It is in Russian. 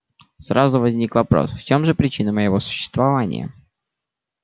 сразу возник вопрос в чем же причина моего существования